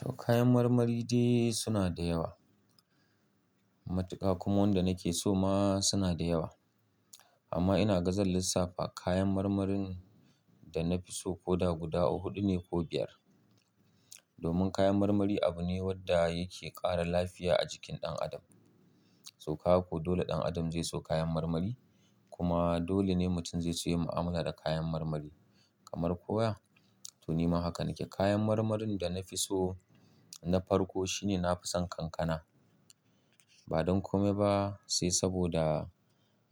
To, kayan marmari dai suna da yawa. Matuka kuma wanda nake so ma suna da yawa. Amma ina ga zan lissafa kayan marmarin da na fi so ko da guda huɗu ne ko biyar. Domin kayan marmari abu ne wanda yake ƙara lafiya a jikin ɗan adam. To, kaga ko dole ɗan adam zai so kayan marmari? Kuma dole ne mutum zai so yin mu'amala da kayan marmari kamar kowa? To, nima haka nake. Kayan marmarin da na fi so na farko shine na fi son kankana. Ba don kome ba sai saboda,